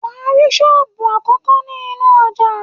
Wàá rí Sóbù àkókó ní inú ojà